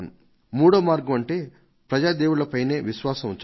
మూడో మార్గం ఏదంటే ప్రజలు సామాన్య జనం మీద విశ్వాసాన్ని ఉంచడం